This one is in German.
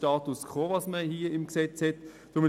Was nun im Gesetz steht, ist bereits der Status quo.